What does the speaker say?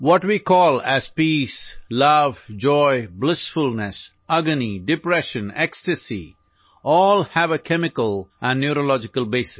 What we call as peace, love, joy, blissfulness, agony, depression, ecstasies all have a chemical and neurological basis